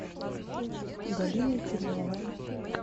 галиной черновой